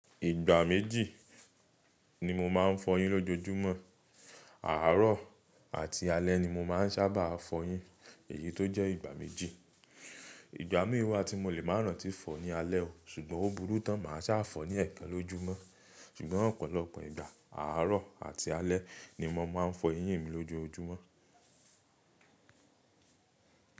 Ìgbà méjì ni mo máa ń fọyín lójoojúmọ́. Àárọ̀ àti alẹ́ ni mo máa ń sábà fọyín, èyí tó jẹ́ ìgbà méjì. Ìgbà mìí wà tí mo lè máa rántí fọ ní alẹ́ o, ṣùgbọ́n ó burú tán máa sá fọ ní ẹ̀ẹ̀kan lójúmọ́. Ṣùgbọ́n ọ̀pọ̀lọpọ̀ ìgbà àrọ̀ àti alẹ́ ni mo máa ń fọ eyín mi lójoojúmọ́.